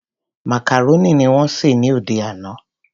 Macaroni ni wón sè ní òde àná.